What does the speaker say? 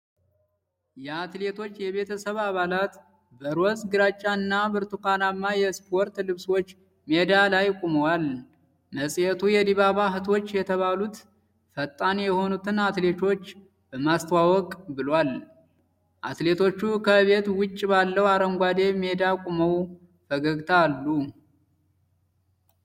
የአትሌቶች የቤተሰብ አባላት በሮዝ፣ ግራጫ እና ብርቱካናማ የስፖርት ልብሶች ሜዳ ላይ ቆመዋል። መጽሔቱ የዲባባ እህቶች የተባሉት ፈጣን የሆኑትን አትሌቶች በማስተዋወቅ ብሏል። አትሌቶቹ ከቤት ውጭ ባለው አረንጓዴ ሜዳ ቆመው ፈገግታ አሉ።